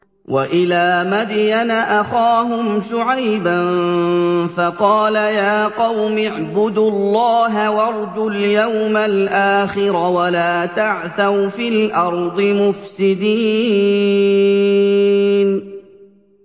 وَإِلَىٰ مَدْيَنَ أَخَاهُمْ شُعَيْبًا فَقَالَ يَا قَوْمِ اعْبُدُوا اللَّهَ وَارْجُوا الْيَوْمَ الْآخِرَ وَلَا تَعْثَوْا فِي الْأَرْضِ مُفْسِدِينَ